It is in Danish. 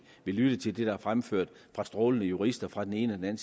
vil lytte til det der er fremført af strålende jurister fra den ene og den